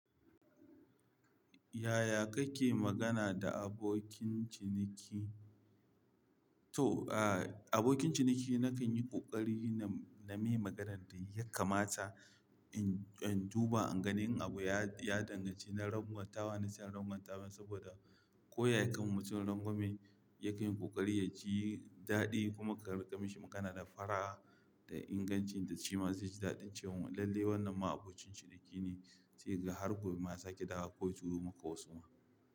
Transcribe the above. Yaya kake magana da abokin ciniki? To, ah, abokin ciniki nakan yi ƙoƙari na, na mai maganan da ya kamata in, in duba in gani in abu ya, ya danganci na rangwatawa na sa rangwatawa saboda koyaya kama mutumirangwame yakan yi ƙoƙari ya ji daɗi kuma ka riƙe mishi magana da fara'a da ingancin da shi ma zai ji daɗin cewa lalle wannan ma abokin ciniki ne sai ga har gobe ma za ki dawo koya turo maka wasu ma.